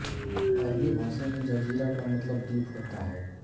अरबी भाषा में जज़ीरा का मतलब द्वीप होता है